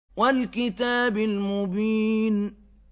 وَالْكِتَابِ الْمُبِينِ